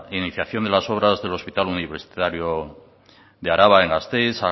iniciación de las obras del hospital universitario de araba en gasteiz